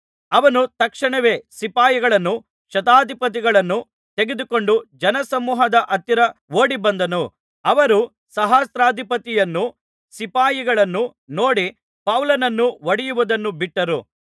ಅವನು ತಕ್ಷಣವೇ ಸಿಪಾಯಿಗಳನ್ನೂ ಶತಾಧಿಪತಿಗಳನ್ನೂ ತೆಗೆದುಕೊಂಡು ಜನಸಮೂಹದ ಹತ್ತಿರ ಓಡಿಬಂದನು ಅವರು ಸಹಸ್ರಾಧಿಪತಿಯನ್ನೂ ಸಿಪಾಯಿಗಳನ್ನೂ ನೋಡಿ ಪೌಲನನ್ನು ಹೊಡೆಯುವುದನ್ನು ಬಿಟ್ಟರು